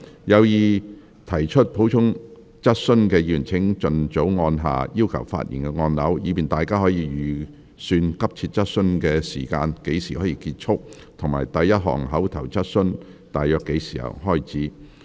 有意提出補充質詢的議員請盡早按下"要求發言"按鈕，以便大家可預算急切質詢大約何時結束，以及第一項口頭質詢大約何時開始。